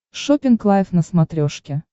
шоппинг лайв на смотрешке